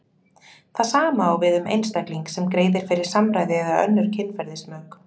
Það sama á við um einstakling sem greiðir fyrir samræði eða önnur kynferðismök.